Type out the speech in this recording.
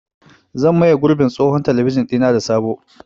Zan maye gurbin tsohon talabijin ɗina da sabo.